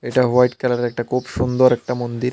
এটা হোয়াইট কালারের একটা কুব সুন্দর একটা মন্দির।